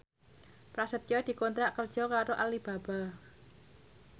Prasetyo dikontrak kerja karo Alibaba